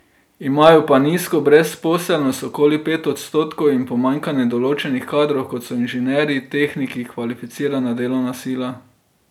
Imajo pa nizko brezposelnost, okoli pet odstotkov, in pomanjkanje določenih kadrov, kot so inženirji, tehniki, kvalificirana delovna sila.